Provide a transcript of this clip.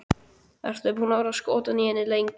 Ertu búinn að vera skotinn í henni lengi?